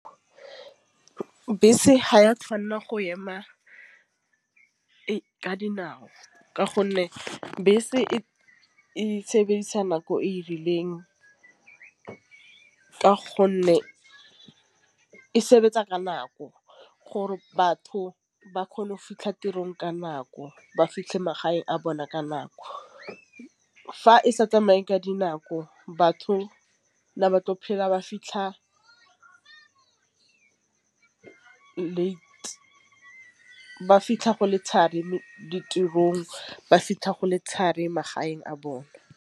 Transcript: Bese ha ya tšhwanela go ema ka dinao ka gonne bese e sebedisa nako e rileng. Ka gonne e sebetsa ka nako gore batho ba kgone go fitlhe tirong ka nako, ba fitlhe magaeng a bona ka nako. Fa e sa tsamaye ka dinako batho ba tlo phela ba fitlha late ba fitlha go le mo ditirong ba fitlha go le magaeng a bone.